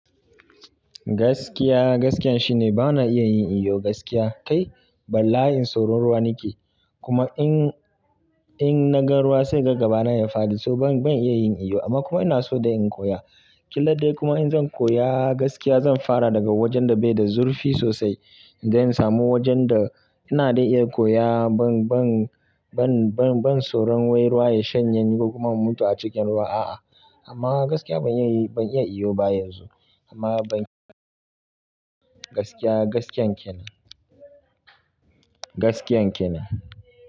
Gaskiya, gaskiyan shine bana iya yin iyo gaskiya. Kai, bala'in tsoron ruwa nake. Kuma in, in na ga ruwa sai in ga gaba na ya faɗi so ban, ban iya yin iyo, amma kuma ina so dai in koya. Killa dai kuma in zan koya, gaskiya zan fara daga wajen da bai da zurfi sosai. Idan in samu wajen da ina dai iya koya ban, ban, ban, ban, ban tsoron wai ruwa ya shanye ni ko kuma in mutu a cikin ruwa. A'a, amma gaskiya ban iya, ban iya iyo ba yanzu, amma ban gaskiya, gaskiyan kenan. Gaskiyan kenan.